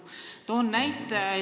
Toon näite.